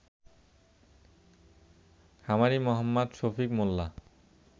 খামারি মো. শফিক মোল্লা